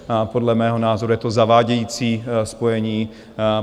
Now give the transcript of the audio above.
Podle mého názoru je to zavádějící spojení.